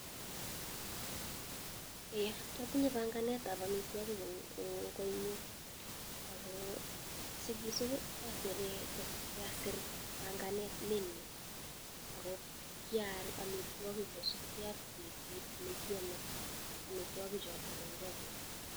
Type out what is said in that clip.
Atinye panganet ab amitwokik en koi nyu , ako sikisup kaisir panagnet menu ako kial amitwokik kosipke ak betut nekiame amitwokik choto en konyu.